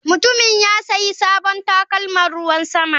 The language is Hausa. Mutumin ya sayi sabon takalman ruwan sama.